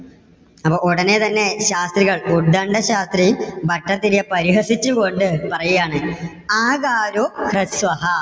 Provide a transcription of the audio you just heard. അപ്പോ ഉടനെ തന്നെ ശാസ്ത്രികൾ ഉത്ഗണ്ട ശാസ്ത്രി ഭട്ടതിരിയെ പരിഹസിച്ചുകൊണ്ട് പറയുകയാണ് ആകാരോ ഹ്രസ്വഹാ